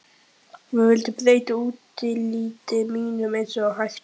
Við vildum breyta útliti mínu eins og hægt var.